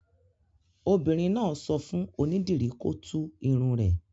Obìnrin náà sọ fún onídìrí kó tú irun rẹ̀.